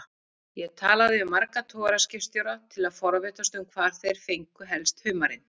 Ég talaði við marga togaraskipstjóra til að forvitnast um hvar þeir fengju helst humarinn.